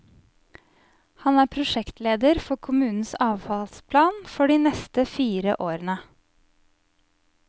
Han er prosjektleder for kommunens avfallsplan, for de neste fire årene.